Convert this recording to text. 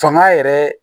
Fanga yɛrɛ